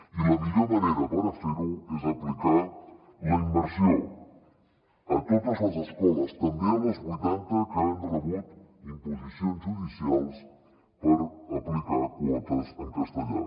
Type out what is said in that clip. i la millor manera per a fer ho és aplicar la immersió a totes les escoles també a les vuitanta que han rebut imposicions judicials per aplicar quotes en castellà